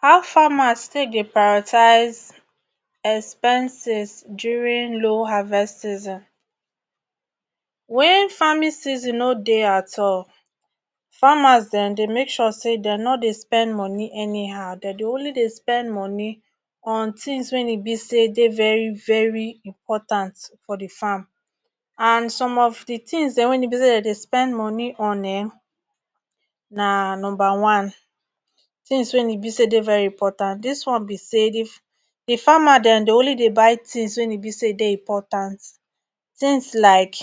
how farmers take dey pairotize expenses during low harvest season wen famine season nor dey at all farmers dem dey make sure say nor dey spend money anyhow dem dey only dey spend moni on thins wen e be say dey very very important for di farm and some of di tins dem wen e be say Dem dey spend money on um na number one thins wey e be say dey very important this one be say dif the farmer den dey only dey buy things wey e be say dey important things like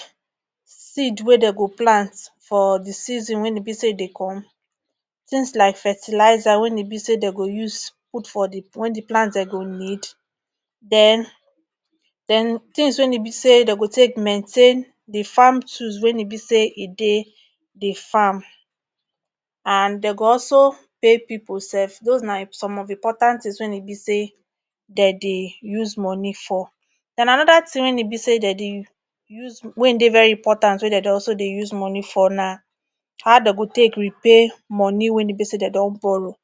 seed wey dey go plant for the season wen e be say e dey come thins like fertilizer wen e be say dey go use put for the wen the plants den go need then thins wey nibisay dey go take mentain the farm tools wen e be say e dey the farm and dey go also pay pipu sef those na um some of important thins wen e be say de dey use moni for and anoda thin wen e be say de dey u use wen dey very important wen de dey also use moni for na how de go take repay money wen e be say de don borrow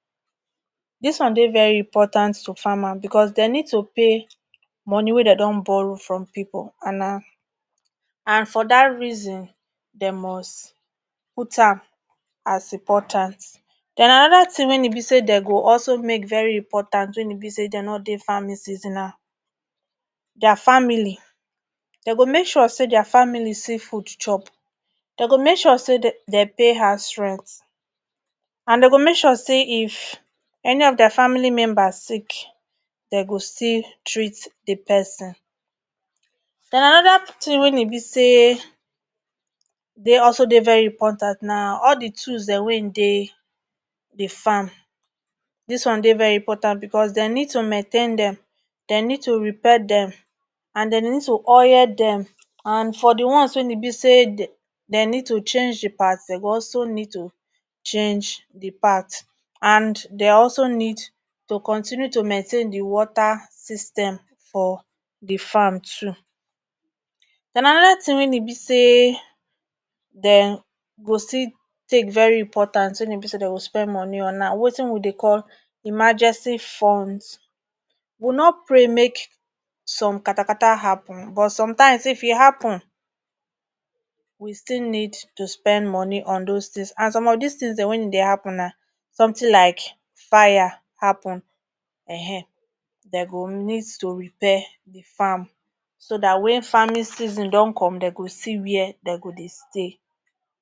dis one dey very important to farmer because de need to pay moni wey den don borrow from pipu an na and for that reason de must put am as important and anoda thin wen e be say de go also make very important wen e be say de nor dey farming season na dia family de go make sure say their family see food chop de go make sure say de de pay house rent and de go make sure say if eni of dia family members sick de go still treat the person and anoda thin wen e be say dey also dey very important na all the tools den wain dey di farm dis one dey very important because den need to maintain them den need to repair them and den need to oye them and for the ones wain e be say de de need to change the parts de go also need to change the parts and de also need to continue to mentain the water system for the farm too then anoda thin wain e be say den go still take very important wen e be say de go spend money on na wetin we dey call imagency funds wu nor pray make some katakata happen but sometimes if e happen we still need to spend moni on those thins and some of these thins den wen e dey happen na something like fire happen um de go need to repair the farm so that wen farming season don come de go see where dey go dey stay